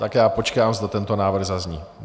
Tak já počkám, zda tento návrh zazní.